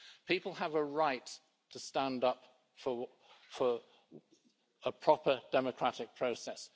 People have a right to stand up for a proper democratic process.